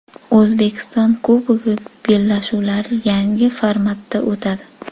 O‘zbekiston Kubogi bellashuvlari yangi formatda o‘tadi.